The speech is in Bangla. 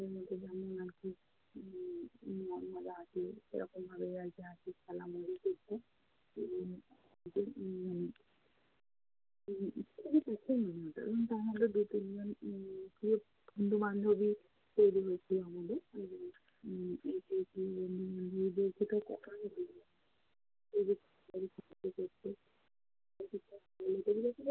বন্ধু-বান্ধবী তৈরি হয়েছে আমাদের বন্ধু-বান্ধবীদের